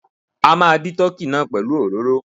A máa dí tọ́kì náà pẹ̀lú òróró.